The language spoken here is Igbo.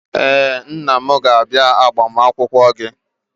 Ee, nna m ga-abịa agbamakwụkwọ gị.